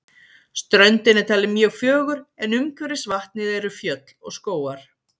Ströndin er talin mjög fögur en umhverfis vatnið eru fjöll og skógar.